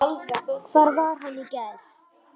Hvar var hann í gær?